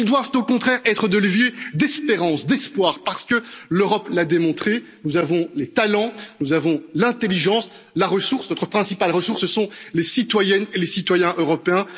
après. Ils doivent au contraire être des leviers d'espérance, d'espoir, parce que l'Europe l'a démontré nous avons les talents, l'intelligence, la ressource. Notre principale ressource, ce sont les citoyennes et les citoyens